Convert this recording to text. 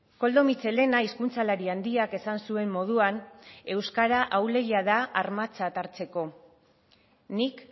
koldo mitxelena hizkuntzalari handiak esan zuen moduan euskara ahulegia da armatzat hartzeko nik